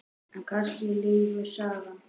En kannski lýgur sagan.